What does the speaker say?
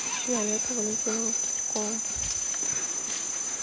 виолетту валентиновну стручкову